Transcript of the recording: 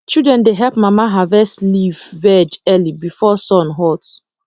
children dey help mama harvest leaf veg early before sun hot